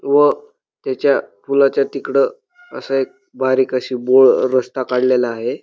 व त्याच्या पुलाच्या तिकड असा एक बारीक अशी बोळ रस्ता काडलेला आहे.